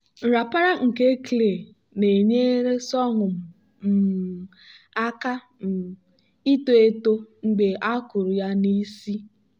nrapara nke nke clay na-enyere sorghum um aka um ito eto mgbe a kụrụ ya n'isi.